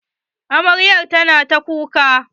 Amaryar tana ta kuka.